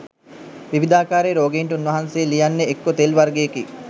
විවිධාකාරයේ රෝගීන්ට උන්වහන්සේ ලියන්නේ එක්කෝ තෙල් වර්ගයකි